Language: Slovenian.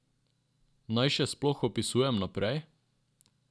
Naj še sploh opisujem naprej?